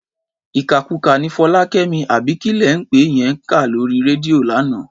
Ìkàkukà ni Fọlákẹ́mi àbí kí lẹ̀ ń pè é yẹn ń kà lórí rédíò lánàá.